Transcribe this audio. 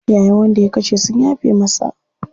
Iyayen wanda ya kashe sun yafe masa.